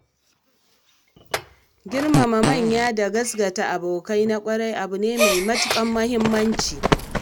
Girmama manya da gaskata abokai na ƙwarai abu ne mai matukar muhimmanci.